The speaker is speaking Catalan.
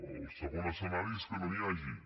el segon escenari és que no n’hi hagi